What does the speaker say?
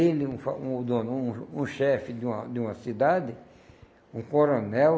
Ele, um fa, um o dono, um o chefe de uma de uma cidade, um coronel,